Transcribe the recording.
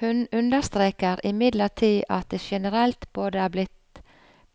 Hun understreker imidlertid at det generelt både er blitt